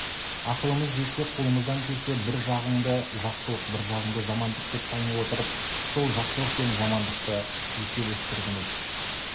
ақылымыз жетсе қолымыздан келсе бір жағыңды жақсылық бір жағыңды жамандық деп тани отырып-ақ сол жақсылық пен жамандықты еселестіргіміз